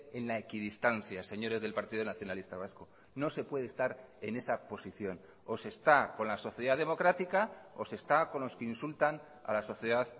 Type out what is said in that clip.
en la equidistancia señores del partido nacionalista vasco no se puede estar en esa posición o se está con la sociedad democrática o se está con los que insultan a la sociedad